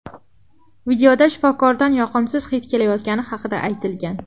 Videoda shifokordan yoqimsiz hid kelayotgani haqida aytilgan.